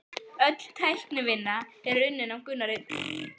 Öll teiknivinna er unnin af Gunnari